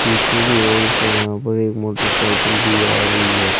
पीछे की ओर से यहां पर एक मोटरसाइकिल भी आ रही है।